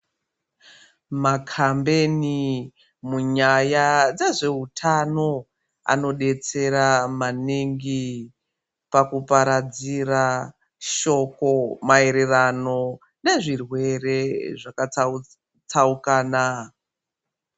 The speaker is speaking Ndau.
Makhambebeni munyaya dzezveutano anodetsera maningi pakuparadzira shoko maererano nezvirwere zvakatsaukana.